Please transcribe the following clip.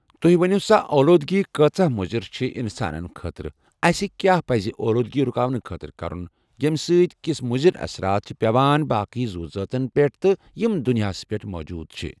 تُہۍ ؤنِو سا اولوٗدگی کۭژاہ مُضِر چھِ اِنسانَن خٲطرٕ اَسہِ کیٛاہ پَزِ یہِ اولوٗدگی رُکاونہٕ خٲطرٕ کَرُن ییٚمہِ سۭتۍ کُس مُضِر اَثرات چھِ پیٚوان باقٕے زُو زٲژَن پٮ۪ٹھ تہِ یِم دُنیاہَس پٮ۪ٹھ موجوٗد چھِ